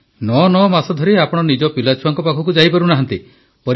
99 ମାସ ଧରି ଆପଣ ନିଜ ପିଲାଛୁଆଙ୍କ ପାଖକୁ ଯାଇ ପାରୁନାହାନ୍ତି